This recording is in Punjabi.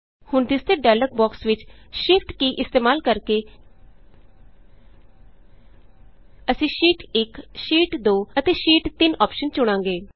ਹੁਣ ਦਿੱਸਦੇ ਡਾਇਲੋਗ ਬੋਕਸ ਵਿਚ shift ਕੀ ਇਸਤੇਮਾਲ ਕਰਕੇ ਅਸੀਂ ਸ਼ੀਟ 1ਸ਼ੀਟ 2 ਅਤੇ ਸ਼ੀਟ 3 ਅੋਪਸ਼ਨ ਚੁਣਾਂਗੇ